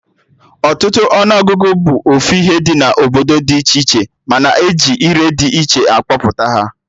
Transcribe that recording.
Ọtụtụ ọnụ ọgụgụ bụ ofu ihe na obodo dị iche iche, mana eji ire dị iche akpọpụta ya